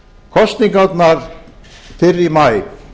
kosningarnar fyrr í maí